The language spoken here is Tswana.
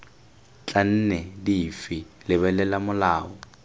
tla nne dife lebelela molao